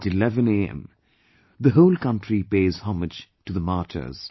At 11am the whole country pays homage to the martyrs